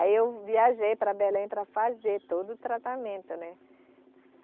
Aí eu viajei para Belém para fazer todo o tratamento, né?